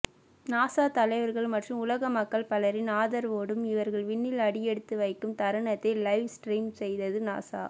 NASA தலைவர்கள் மற்றும் உலக மக்கள் பலரின் ஆதரவோடும் இவர்கள் விண்ணில் அடியெடுத்துவைக்கும் தருணத்தை லைவ் ஸ்ட்ரீம் செய்தது நாசா